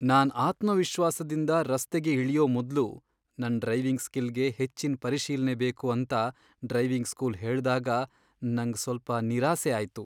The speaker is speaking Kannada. ನಾನ್ ಆತ್ಮವಿಶ್ವಾಸದಿಂದ ರಸ್ತೆಗೆ ಇಳಿಯೋ ಮೊದ್ಲು ನನ್ ಡ್ರೈವಿಂಗ್ ಸ್ಕಿಲ್ ಗೆ ಹೆಚ್ಚಿನ್ ಪರಿಶೀಲ್ನೆ ಬೇಕು ಅಂತ ಡ್ರೈವಿಂಗ್ ಸ್ಕೂಲ್ ಹೇಳ್ದಾಗ ನಂಗ್ ಸ್ವಲ್ಪ ನಿರಾಸೆ ಆಯ್ತು.